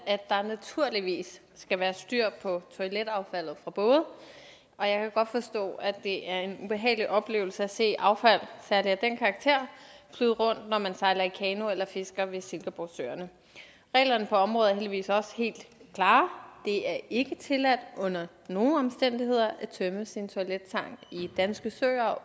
at der naturligvis skal være styr på toiletaffaldet fra både og jeg kan godt forstå at det er en ubehagelig oplevelse at se affald særligt af den karakter flyde rundt når man sejler i kano eller fisker ved silkeborgsøerne reglerne på området er heldigvis også helt klare det er ikke tilladt under nogen omstændigheder at tømme sin toilettank i danske søer